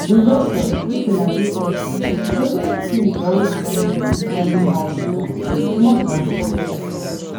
investors make una dey careful fraudulent schemes dey always promise unusually high returns with small transparency